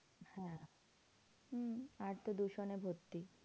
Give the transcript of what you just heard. হ্যাঁ হম আর তো দূষণে ভর্তি।